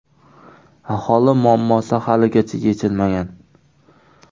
Aholi muammosi haligacha yechilmagan.